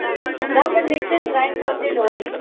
ਨੇ ਫ਼ੇਰ ਮਿਕਸੀ ਚ grind ਕਰਨ ਦੀ ਲੋੜ ਨੀ